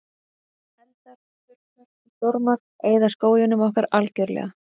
Eldar, þurrkar og stormar eyða skóginum ekki algjörlega.